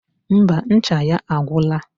Ḿbà, ncha ya agwora